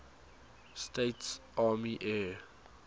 states army air